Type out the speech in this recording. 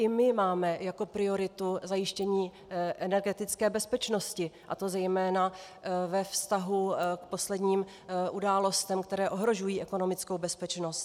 I my máme jako prioritu zajištění energetické bezpečnosti, a to zejména ve vztahu k posledním událostem, které ohrožují ekonomickou bezpečnost.